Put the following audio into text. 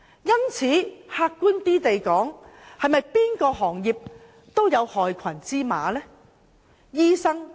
因此，客觀而言，不論哪個行業也會有害群之馬，對嗎？